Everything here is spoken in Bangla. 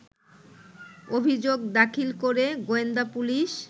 অভিযোগ দাখিল করে গোয়েন্দাপুলিশ